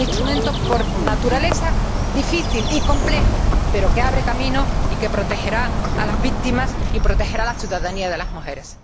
Un instrumento por naturaleza difícil y complejo, pero que abre camino y que protegerá a las víctimas y protegerá la ciudadanía de las mujeres.